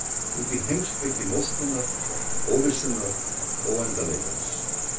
Út í heimspeki móskunnar, óvissunnar, óendanleikans.